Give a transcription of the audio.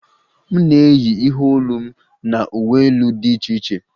M na-eyi ihe olu m na uwe elu di iche iche